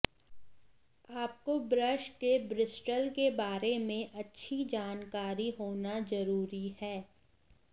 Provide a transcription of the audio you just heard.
आपको ब्रश के ब्रिस्टल के बारे में अच्छी जानकारी होना जरुरी है